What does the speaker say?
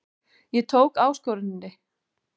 Ég tók áskoruninni.